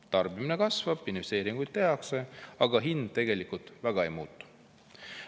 Tarbimine kasvab, investeeringuid tehakse, aga hind tegelikult väga ei muutu.